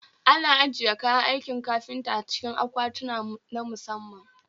Ana ajiye kayan aikin kafinta a cikin akwatinna musamman